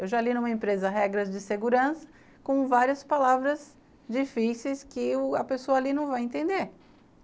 Eu já li numa empresa regras de segurança com várias palavras difíceis que u a pessoa ali não vai entender.